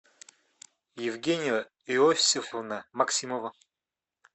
евгения иосифовна максимова